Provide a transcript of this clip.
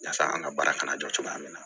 Yasa an ka baara kana jɔ cogoya min na